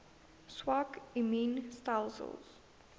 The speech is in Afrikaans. swak immuun stelsels